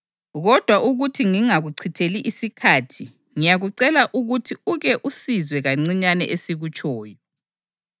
Kodwa ukuthi ngingakuchitheli isikhathi, ngiyakucela ukuthi uke usizwe kancinyane esikutshoyo.